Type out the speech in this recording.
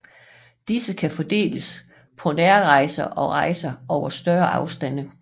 Disse kan fordeles på nærrejser og rejser over større afstande